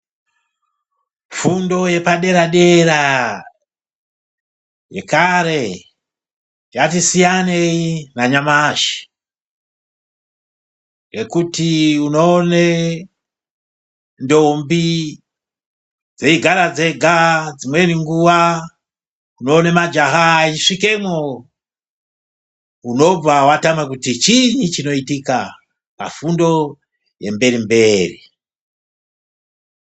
Fundo yepadera-dera yekare yatisiyanei nanyamashi yekuti unoone ndombi dzeigara dzega, dzimweni nguva tinoone majaha eisvikemo, unobva watama kuti chinyi chinoitika mukati mefundo yemberi-mberi.